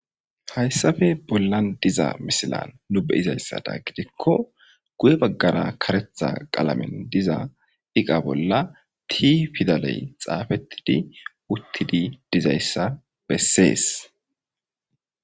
Hayssappe bollan diza misilan nu beyiza issadan gidikko guye baggara karetha qalamen diza iqa bolla tii pidalay xaafettidi uttidi diza issa bessees.